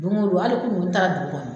Don o don hali kunuko n taara dugu kɔnɔ.